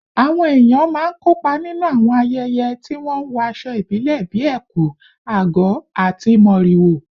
Àwọn èèyàn máa ń kópa nínú àwọn ayẹyẹ tí wọ́n ń wọ aṣọ ìbílẹ̀ bíi ẹ̀kú/àgọ̀ àti mọ́rìwò